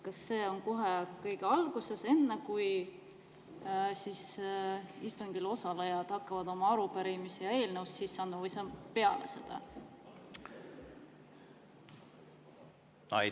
Kas see on kohe kõige alguses, enne kui istungil osalejad hakkavad oma arupärimisi ja eelnõusid sisse andma, või see on peale seda?